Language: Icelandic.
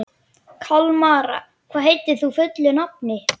Kalmara, hvað heitir þú fullu nafni?